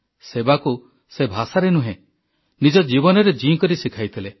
ସେବାକୁ ସେ ଭାଷାରେ ନୁହେଁ ନିଜ ଜୀବନରେ ଜିଇଁ କରି ଶିଖାଇଥିଲେ